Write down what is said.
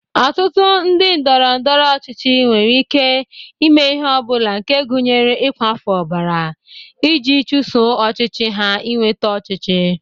Ọtụtụ ndị ndọrọndọrọ ọchịchị nwere ike ime ihe ọ bụla nke gụnyere ịkwafụ ọbara, iji chuso ọchịchọ ha inweta ọchịchị.